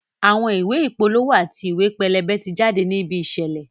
Àwọn ìwé ìpolówó àti ìwé pẹlẹbẹ ti jáde ní ibi ìṣẹ̀lẹ̀